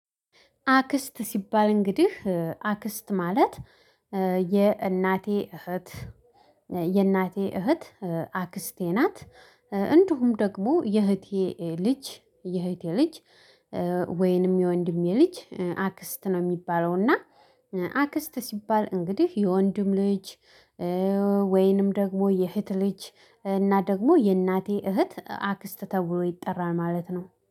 አክስት ሲባል እንግዲህ አክስት ማለት የእናቴ እህት የእናቴ እህት አክስቴ ናት። እንደውም ደግሞ የእህቴ ልጅ የእህቴ ልጅ ወይንም የወንድሜ ልጅ አክስት ነው የሚባለው። እና አክስት ሲባል እንግዲህ የወንድም ልጅ። ወይንም ደግሞ የእህት ልጅ እና ደግሞ የእናቴ እህት አክስት ተብሎ ይጠራል ማለት ነው